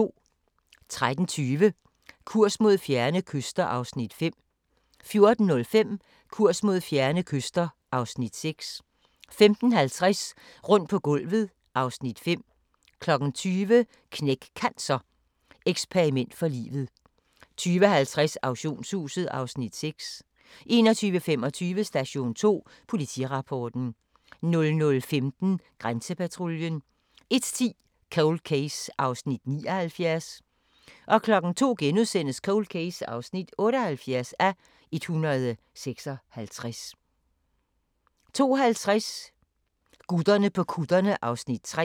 13:20: Kurs mod fjerne kyster (Afs. 5) 14:05: Kurs mod fjerne kyster (Afs. 6) 15:50: Rundt på gulvet (Afs. 5) 20:00: Knæk Cancer: Eksperiment for livet 20:50: Auktionshuset (Afs. 6) 21:25: Station 2: Politirapporten 00:15: Grænsepatruljen 01:10: Cold Case (79:156) 02:00: Cold Case (78:156)* 02:50: Gutterne på kutterne (Afs. 3)